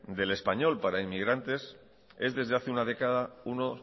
del español para inmigrantes es desde hace una década uno